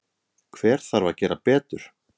Hver þarf að gera betur?